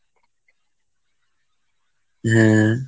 হম